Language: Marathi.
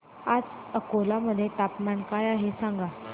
आज अकोला मध्ये तापमान काय आहे सांगा